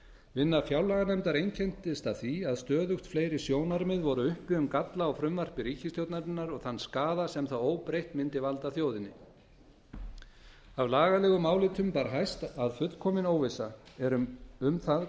vinna fjárlaganefndar einkenndist af því að stöðugt fleiri sjónarmið voru uppi um galla á frumvarpi ríkisstjórnarinnar og þann skaða sem það óbreytt myndi valda þjóðinni af lagalegum álitum bar hæst að fullkomin óvissa er um það